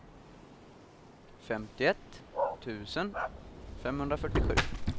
femtioett tusen femhundrafyrtiosju